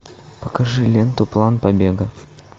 покажи ленту план побега